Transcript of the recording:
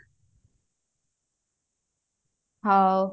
ହଉ